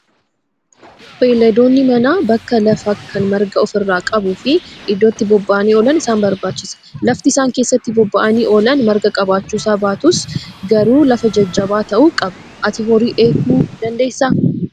Beeyladoonni manaa bakka lafaa kan marga ofirraa qabuu fi iddoo itti bobba'anii oolan isaan barbaachisa. Lafti isaan keessatti bobba'anii oolan marga qabaachuusa baatu garuu lafa jajjaba ta'uu qaba. Ati horii eeguu dandeessaa?